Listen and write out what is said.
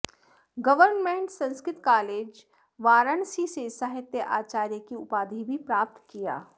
government Sanskrit college Varanasi से साहित्याचार्य की उपाधि भी प्राप्त किया